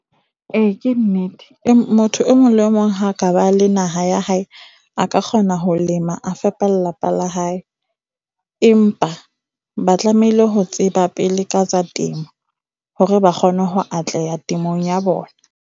E, ke nnete. Motho e mong le e mong ha ka ba la naha ya hae, a ka kgona ho lema, a fepa lelapa la hae. Empa ba tlamehile ho tseba pele ka tsa temo hore ba kgone ho atleha temong ya bona.